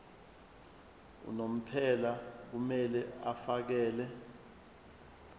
unomphela kumele afakele